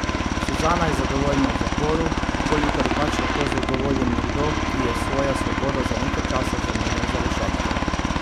Suzana je zadovoljna v zaporu, kolikor je pač lahko zadovoljen nekdo, ki je svojo svobodo za nekaj časa zamenjal za rešetke.